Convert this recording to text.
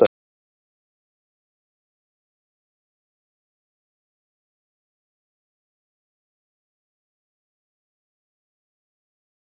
Ingimar Karl Helgason: En einmitt þegar hægt er kaupa ódýrt, hvar getur maður fengið peninga?